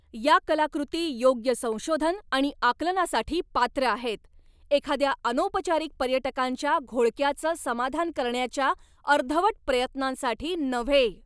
या कलाकृती योग्य संशोधन आणि आकलनासाठी पात्र आहेत, एखाद्या अनौपचारिक पर्यटकांच्या घोळक्याचं समाधान करण्याच्या अर्धवट प्रयत्नांसाठी नव्हे.